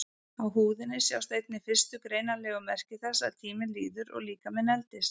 Á húðinni sjást einnig fyrstu greinanlegu merki þess að tíminn líður og líkaminn eldist.